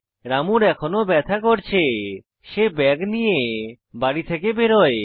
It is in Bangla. রামুর এখনও ব্যাথা করছে সে ব্যাগ নিয়ে বাড়ি থেকে বেরোয়